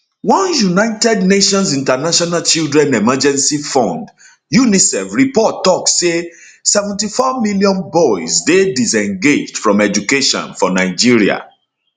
one united nations international children emergency fund unicef report tok say 74 million boys dey disengaged from education for nigeria